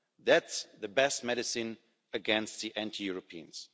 That is the best medicine against the anti Europeans.